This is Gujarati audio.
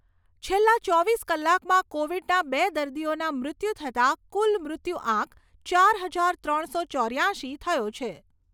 છેલ્લા ચોવીસ કલાકમાં કોવિડના બે દર્દીઓના મૃત્યુ થતા કુલ મૃત્યુઆંક ચાર હજાર ત્રણસો ચોર્યાશી થયો છે.